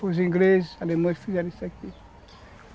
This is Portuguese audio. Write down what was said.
Os ingleses, os alemães fizeram isso aqui.